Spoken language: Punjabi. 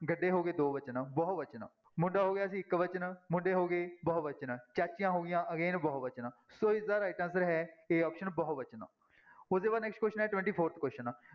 ਗੱਡੇ ਹੋ ਗਏ ਦੋਵਚਨ ਬਹੁਵਚਨ, ਮੁੰਡਾ ਹੋ ਗਿਆ ਸੀ ਇੱਕਵਚਨ, ਮੁੰਡੇ ਹੋ ਗਏ ਬਹੁਵਚਨ, ਚਾਚੀਆਂ ਹੋ ਗਈਆਂ again ਬਹੁਵਚਨ ਸੋ ਇਸਦਾ right answer ਹੈ a option ਬਹੁ ਵਚਨ, ਉਹਦੇ ਬਾਅਦ next question ਹੈ twenty-fourth question